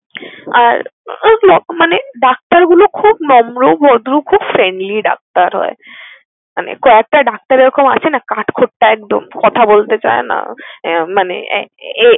আর ওইতো মানে ডাক্তারগুলো খুব নম্র, ভদ্র খুব friendly ডাক্তার হয়। মানে কয়েকটা ডাক্তার এরকম আছে না কাঠখোট্টা একদম, কথা বলতে চায় না তো মানে আ~এ